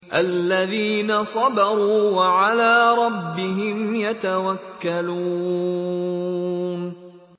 الَّذِينَ صَبَرُوا وَعَلَىٰ رَبِّهِمْ يَتَوَكَّلُونَ